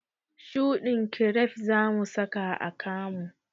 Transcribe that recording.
Shuɗin kiref zamu saka a kamu